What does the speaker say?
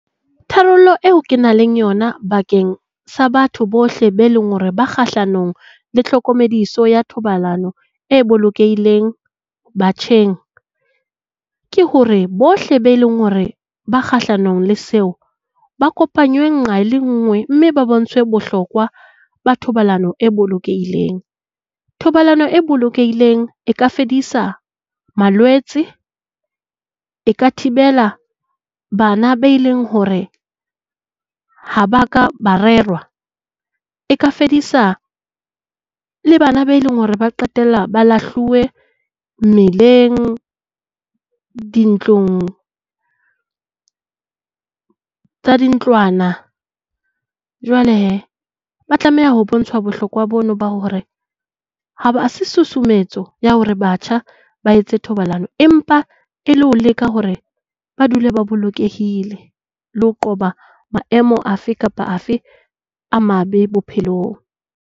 Tharollo eo ke nang le yona bakeng sa batho bohle bao e leng hore ba kgahlanong le tlhokomediso ya thobalano e bolokehileng batjheng, ke hore bohle bao e leng hore ba kgahlanong le seo, ba kopanywe nqa le nngwe mme ba bontshwe bohlokwa ba thobalano e bolokehileng. Thobalano e bolokehileng e ka fedisa malwetse. E ka thibela bana bao eleng hore ha ba ka ba rerwa. E ka fedisa le bana bao e leng hore ba qetella ba lahluwe mmileng, dintlong tsa dintlwana. Jwale he, ba tlameha ho bontshwa bohlokwa boo ba hore ha se susumetso ya hore batjha ba etsa thobalano, empa e le ho leka hore ba dule ba bolokehile le ho qoba maemo a fe kapa a fe a mabe bophelong.